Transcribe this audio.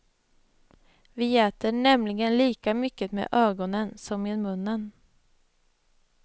Vi äter nämligen lika mycket med ögonen som med munnen.